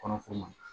Kɔnɔ f'o ma